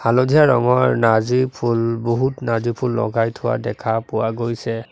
হালধীয়া ৰঙৰ নাৰ্জী ফুল বহুত নাৰ্জী ফুল লগাই থোৱা দেখা পোৱা গৈছে।